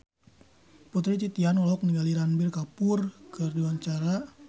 Putri Titian olohok ningali Ranbir Kapoor keur diwawancara